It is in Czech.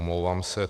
Omlouvám se.